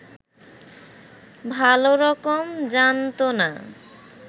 ভালরকম জানত না